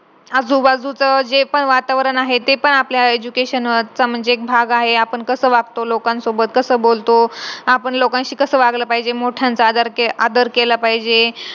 आजू बाजूचा जे पण वातावरण आहे ते पण आपल्या education च म्हणजे एक भाग आहे आपण कस वागतो लोकांसोबत कसा बोलतो आपण लोकांशी कसा वागला पाहिजे मोठ्यांचा आदर आदर केला पाहिजे